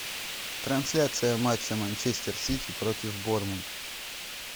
трансляция матча манчестер сити против борнмут